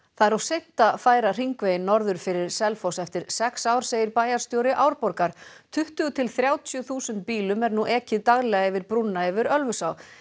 það er of seint að færa hringveginn norður fyrir Selfoss eftir sex ár segir bæjarstjóri Árborgar tuttugu til þrjátíu þúsund bílum er nú ekið daglega yfir brúna yfir Ölfusá